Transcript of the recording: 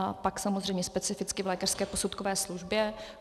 A pak samozřejmě specificky v lékařské posudkové službě.